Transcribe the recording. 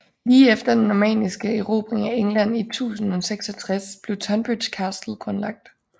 Lige efter den normanniske erobring af England i 1066 blev Tonbridge Castle grundlagt